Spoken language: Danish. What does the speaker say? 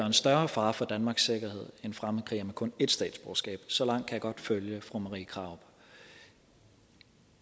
en større fare for danmarks sikkerhed end fremmedkrigere med kun ét statsborgerskab så langt kan jeg godt følge fru marie krarup